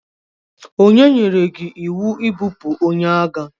Onye nyere gi iwu ibupu onye agha?